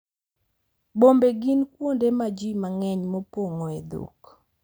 Bombe gin kuonde ma ji mang’eny pong’oe dhok,